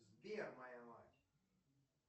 сбер моя мать